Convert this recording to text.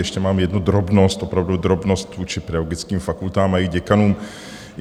Ještě mám jednu drobnost, opravdu drobnost vůči pedagogickým fakultám a jejich děkanům.